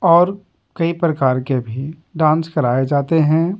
और कई प्रकार के भी डांस कराए जाते हैं।